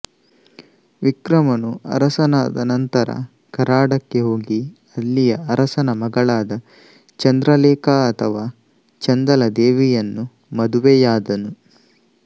ವಿಕ್ರಮನು ಅರಸನಾದ ನಂತರ ಕರಾಡಕ್ಕೆ ಹೋಗಿ ಅಲ್ಲಿಯ ಅರಸನ ಮಗಳಾದ ಚಂದ್ರ ಲೇಖಾ ಅಥವಾ ಚಂದಲಾದೇವಿಯನ್ನು ಮದುವೆಯಾದನು